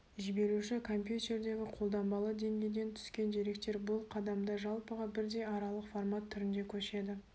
жіберуші компьютердегі қолданбалы деңгейден түскен деректер бұл қадамда жалпыға бірдей аралық формат түрінде көшеді